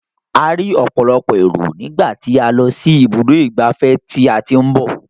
A rí ọ̀pọ̀lọpọ̀ èrò nígbà tí a lọ sí ibùdó ìgbafẹ́ tí a ti ń bọ̀.